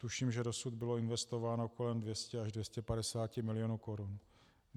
Tuším, že dosud bylo investováno kolem 200 až 250 milionů korun.